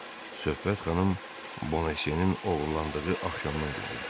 Söhbət xanım Bonasye-nin oğurlandığı axşamdan gedirdi.